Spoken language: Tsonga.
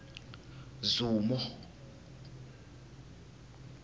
zumo